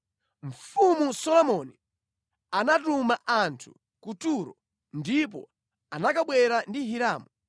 Mfumu Solomoni anatuma anthu ku Turo ndipo anakabwera ndi Hiramu,